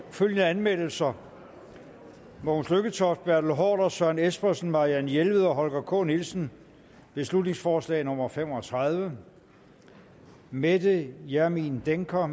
følgende anmeldelser mogens lykketoft bertel haarder søren espersen marianne jelved og holger k nielsen beslutningsforslag nummer b fem og tredive mette hjermind dencker